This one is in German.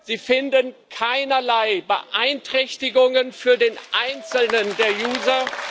Sie finden keinerlei Beeinträchtigungen für den einzelnen Nutzer.